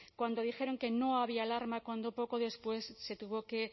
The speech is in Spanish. cuando dijeron que no había alarma cuando poco después se tuvo que